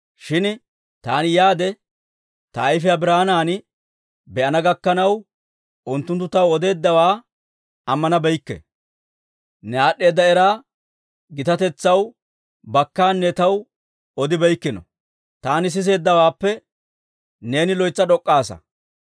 Shin taani yaade ta ayfiyaa biraanan be'ana gakkanaw, unttunttu taw odeeddawaa ammanabeykke. Ne aad'd'eeda era gitatetsaw bakkaanne taw odibeykkino; taani siseeddawaappe neeni loytsa d'ok'k'aasa.